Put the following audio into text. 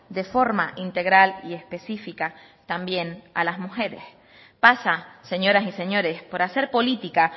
de forma integral y específica también a las mujeres pasa señoras y señores por hacer política